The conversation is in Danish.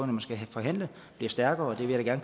man skal forhandle bliver stærkere og det vil jeg